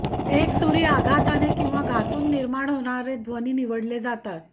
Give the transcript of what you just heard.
एकसुरी आघातने किंवा घासून निर्माण होणारे ध्वनी निवडले जातात